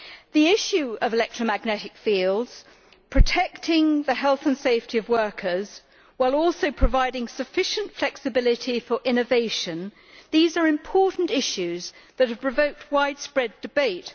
The issue of electromagnetic fields, and the need to protect the health and safety of workers while also providing sufficient flexibility for innovation, are important issues that have provoked widespread debate.